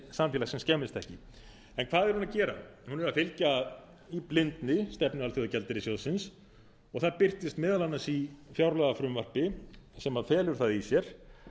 samfélagsins skemmist ekki en hvað er hún að gera hún er að fylgja í blindni stefnu alþjóðagjaldeyrissjóðsins og það birtist meðal annars í fjárlagafrumvarpi sem felur það í sér